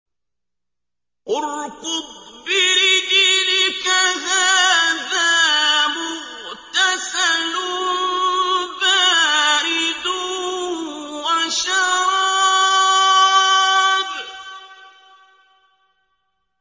ارْكُضْ بِرِجْلِكَ ۖ هَٰذَا مُغْتَسَلٌ بَارِدٌ وَشَرَابٌ